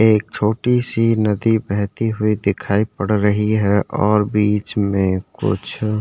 एक छोटी सी नदी बहती हुई दिखाई पड़ रही है और बीच में कुछ --